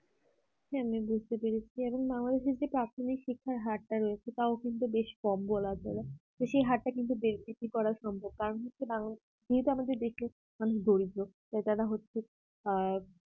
হ্যাঁ আমি বুঝতে পেরেছি এবং না হয় যদি প্রাথমিক শিক্ষার হারটা রয়েছে তাও কিন্তু বেশ কম বলা চলে তো সেই হারটা কিন্তু বেশি করা সম্ভব কারণ হচ্ছে বাংলাদেশে যেহেতু আমাদের দরিদ্র তাই যারা হচ্ছে আ